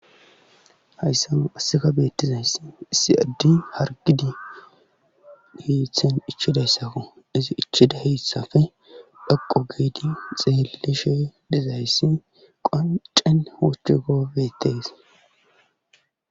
hayssa assika beettizayss isi addi hargidi heithen ichidayssaku izi ichida heethsafe dhaqo geedi xeelishe dizayssi qoncen hoochche gobetees